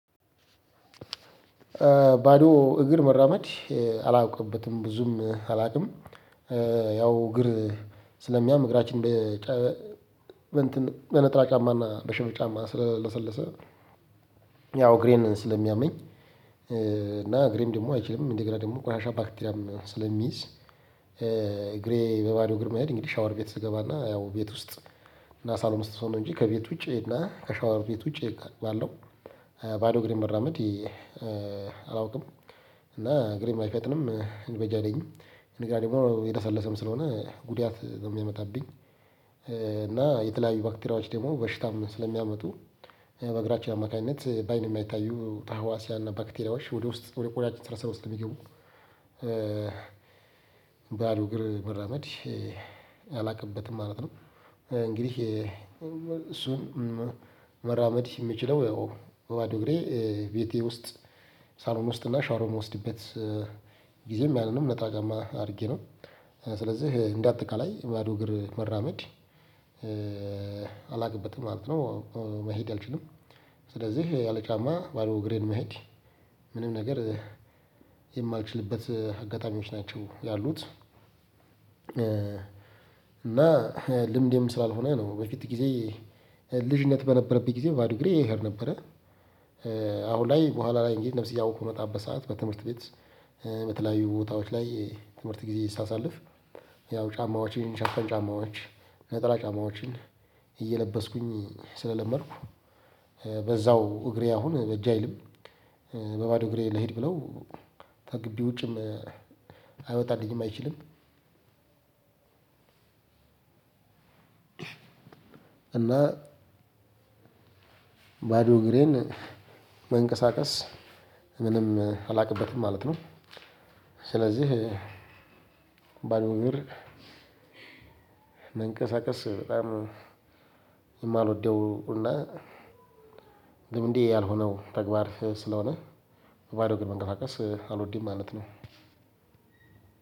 ባዶ እግር መራመድ አላውቅበትም ብዙም አላውቅም። ያው እግር ስለሚያም እግራችን። በነጠላ ጫማና በሸበጥ ጫማ ስለለሰለሰ ያው እግሬን ስለሚያመኝ። እና እግሬም ደግሞ አይችልም እንደገና ደግሞ ቆሻሻ ባክቴሪያም ስለሚይዝ። እግሬ በባዶ እግር መሄድ እንግዲህ ሻወር ቤት ስገባና ያው ቤት ውስጥ እና ሳሎን ውስጥ ስሆን ነው እንጂ ከቤት ውጪ እና ከሻወር ቤት ውጪ ባለው ባዶ እግሬን መራመድ። አላውቅም እና እግሬም አይፈጥንም በጃ አይለኝም። እንደገና ደግሞ የለሰለሰም ስለሆነ ጉዳት ነው የሚያመጣብኝ። እና የተለያዩ ባክቴሪያዎች ደግሞ በሽታም ስለሚያመጡ በእግራችን አማካኝነት በአይን የማይታዩ ታህዋሲያ እና ባክቴሪያዎች ወደ ውስጥ ወደ ቆዳችን ስርስረው ስለሚገቡ። ባዶ እግር መራመድ አላውቅበትም ማለት ነው። እንግዲህ እሱን መራመድ የምችለው ያው በባዶ እግሬ ቤቴ ውስጥ ሳሎን ውስጥ እና ሻወር በምወስድበት ጊዜም ያንንም ነጠላ ጫማ አድርጌ ነው። ስለዚህ እንዳጠቃላይ ባዶ እግር መራመድ አላውቅበትም ማለት ነው። መሄድ አልችልም ስለዚህ ያለ ጫማ ባዶ እግሬን መሄድ ምንም ነገር የማልችልበት አጋጣሚዎች ናቸው ያሉት። እና ልምዴም ስላልሆነ ነው በፊት ጊዜ ልጅነት በነበረብኝ ጊዜ ባዶ እግሬ ይሄድ ነበረ። አሁን ላይ በኋላ ላይ እንግዲህ ነፍስ እያወኩ በምመጣበት ሰዓት በትምህርት ቤት በተለያዩ ቦታዎች ላይ ትምህርት ጊዜ ሳሳልፍ። ያው ጫማዎችን ሽፍን ጫማዎች ነጠላ ጫማዎችን እየለበስኩኝ ስለለመድኩ። በዛው እግሬ አሁን በጅ አይልም። በባዶ እግሬ ልሂድ ብለው ተግቢ ውጭም አይወጣልኝም አይችልም። እና ባዶ እግሬን መንቀሳቀስ ምንም አላውቅበትም ማለት ነው። ስለዚህ ባዶ እግር መንቀሳቀስ በጣም የማልወደው እና ልምዴ ያልሆነው ተግባር ስለሆነ። በባዶ እግር መንቀሳቀስ አልወድም ማለት ነው።